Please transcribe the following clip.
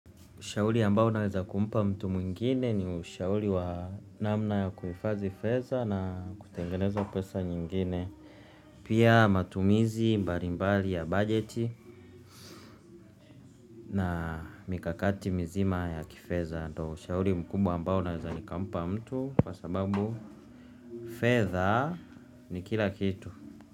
Ushauli ambao naweza kumpa mtu mwingine ni ushauli wa namna ya kuhifazi fedha na kutengeneza pesa nyingine. Pia matumizi mbali mbali ya budget na mikakati mizima ya kifeza. Ndo ushauli mkubwa ambao naweza nikampa mtu kwa sababu fedha ni kila kitu.